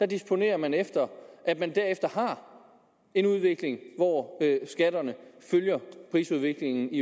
disponerer man efter at man derefter har en udvikling hvor skatterne følger prisudviklingen